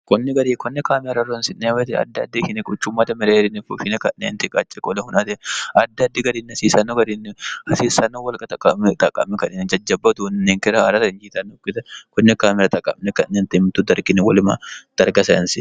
konni garinni konne kaameela horonsi'nanni wote quccummate mereerinni fushshine ka'neentinni qacce hunate addi addi garinni hasiisanno garinni hasiissanno wolqa xaqqamine ka'neentinni jajjabba uduunne ninkera haarate injiitannokkita konne kaameela xaqqamine ka'neentinni mittu darginni wole darga sayiinseemmo.